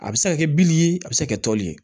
A bɛ se ka kɛ bili ye a bɛ se ka kɛ toli ye